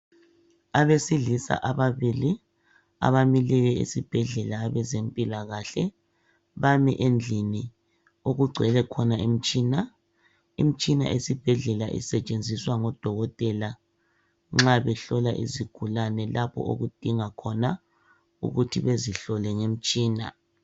Abesilisa ababili abamileyo esibhedlela abezempilakahle bami endlini okugcwelwe khona imitshina. Imitshina esibhedlela isetshenziswa ngodokotela nxa behlola izigulane lapho okudinga khona ukuthi bezihlole ngomtshina.